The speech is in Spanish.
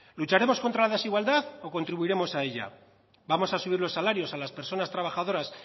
lucharemos contra la desigualdad o contribuiremos a ella vamos a subir los salarios a las personas trabajadoras